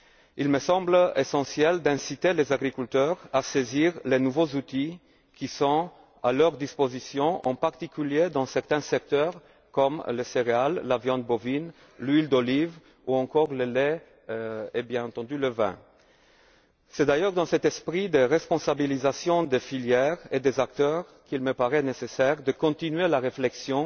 Il me semble essentiel d'inciter les agriculteurs à saisir les nouveaux outils qui sont à leur disposition, en particulier dans certains secteurs comme les céréales, la viande bovine, l'huile d'olive ou encore le lait et bien entendu le vin. C'est d'ailleurs dans cet esprit de responsabilisation des filières et des acteurs qu'il me paraît nécessaire de continuer la réflexion